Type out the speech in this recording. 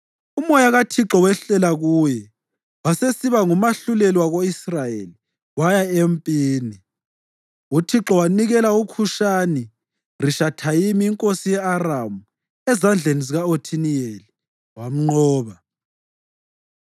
Umoya kaThixo wehlela kuye, wasesiba ngumahluleli wako-Israyeli waya empini. UThixo wanikela uKhushani-Rishathayimi inkosi ye-Aramu ezandleni zika-Othiniyeli, wamnqoba.